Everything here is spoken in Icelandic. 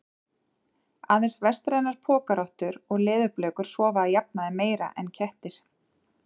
Aðeins vestrænar pokarottur og leðurblökur sofa að jafnaði meira en kettir.